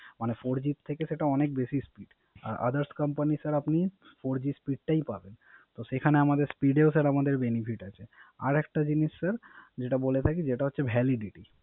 মানে Four G থেকে সেটা অনেক বেশি Speed others company sir আপনি Four G speed টাই পাবেন। তো সেখানে আমাদের Speed এও Sir আমাদের Benefit আছে